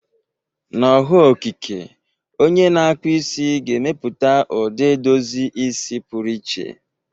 Na ọhụụ okike, onye na-akpụ isi ga-emepụta ụdị edozi isi pụrụ iche.